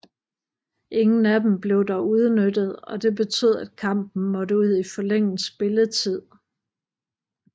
Ingen af dem blev dog udnyttet og det betød at kampen måtte ud i forlænget spilletid